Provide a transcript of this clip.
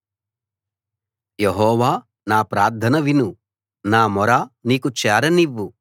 యెహోవా నా ప్రార్థన విను నా మొర నీకు చేరనివ్వు